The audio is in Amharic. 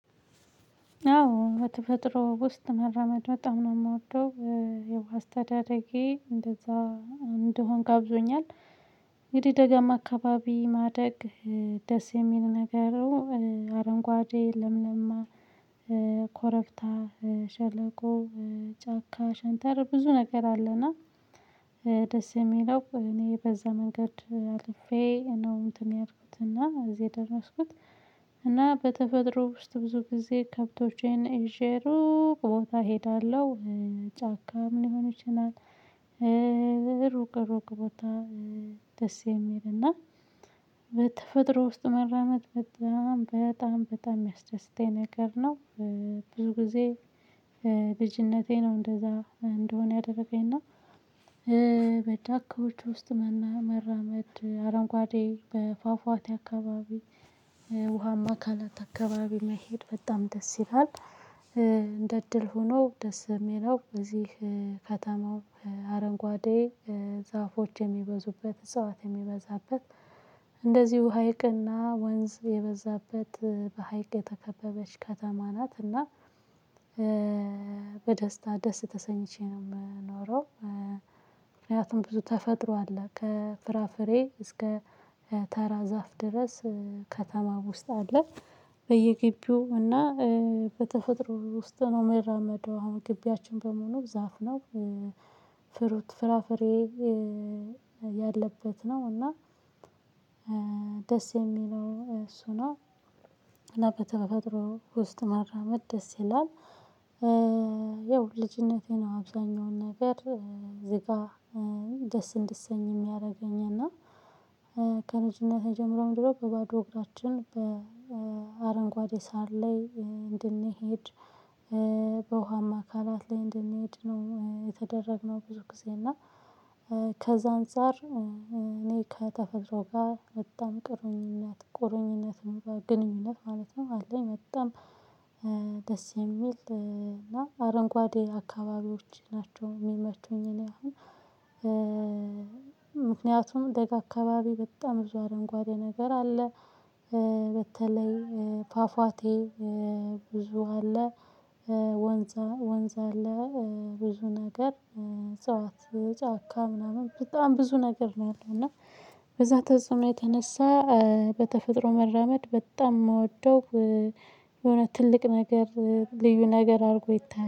አዎ በተፈጥሮ ውስጥ መራመድ በጣም ነው የምወደው ያው አስተዳደጌ እንደዛ እንደሆን ጋብዞኛል። እንግዲህ ደጋማ አካባቢ ማደግ ደስ የሚል ነገሩ። አረንጓዴ ለምለማ ኮረብታ ሸለቆ ጫካ ሽንተረር ብዙ ነገር አለውና። ደስ የሚለው እኔ በዛ መንገድ አልፌ ነው እንትን ያልኩት እና እዚህ የደረስኩት። እና በተፈጥሮ ውስጥ ብዙ ጊዜ ከብቶቼን ይዠ ሩቅ ቦታ እሄዳለሁ። ጫካ ሊሆን ይችላል። ሩቅ ቦታ ደስ የሚል እና በተፈጥሮ ውስጥ መራመድ በጣም በጣም በጣም የሚያስደስተኝ ነገር ነው። ብዙ ጊዜ ልጅነቴ ነው እንደዛ እንደሆን ያደረገኝ እና። በዳካዎቹ ውስጥ መራመድ አረንጓዴ በፏፏቴ አካባቢ ውሃማ አካላት አካባቢ መሄድ በጣም ደስ ይላል። እንደ እድል ሆኖ ደስ የሚለው እዚህ ከተማው አረንጓዴ ዛፎች የሚበዙበት እዛው አት የሚበዛበት እንደዚሁ ሀይቅና ወንዝ የበዛበት በሀይቅ የተከበበች ከተማ ናት። እና በደስታ ደስ ተሰኝቼ ነው የምኖረው። ምክንያቱም ብዙ ተፈጥሮ አለ ከፍራፍሬ እስከ ተራ ዛፍ ድረስ ከተማ ውስጥ አለ። በየግቢው እና በተፈጥሮ ውስጥ ነው የሚራመደው አሁን ግቢያችን በሙሉ ዛፍ ነው። ፍሩት ፍራፍሬ ያለበት ነው እና ደስ የሚለው እሱ ነው። እና በተፈጥሮ ውስጥ መራመድ ደስ ይላል። ያው ልጅነቴ ነው አብዛኛውን ነገር ዝጋ ደስ እንድሰኝ የሚያደርገኝ። እና የጀመረው ድሮ በባዶ እግራችን በአረንጓዴ ሳር ላይ እንድንሄድ በውሃማ አካላት ላይ እንድንሄድ ነው የተደረግነው። ብዙ ጊዜ እና አንፃር እኔ ከተፈጥሮ ጋር በጣም ቁርኝነት ቁርኝነትም ጓደኝነት ማለት ነው አለኝ። በጣም ደስ የሚል እና አረንጓዴ አካባቢዎች ናቸው የሚመቹኝ እኔ አሁን። ምክንያቱም ደጋ አካባቢ በጣም ብዙ አረንጓዴ ነገር አለ። በተለይ ፏፏቴ ብዙ አለ። ወንዝ ወንዝ አለ። ብዙ ነገር እጽዋት ጫካ ምናምን በጣም ብዙ ነገር ነው ያለው። እና በዛ ተጽዕኖ የተነሳ በተፈጥሮ መራመድ በጣም የምወደው የሆነ ትልቅ ነገር ልዩ ነገር አድርጎ ይታያል